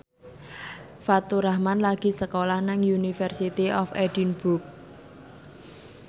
Faturrahman lagi sekolah nang University of Edinburgh